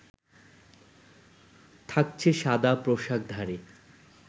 থাকছে সাদা পোশাকধারী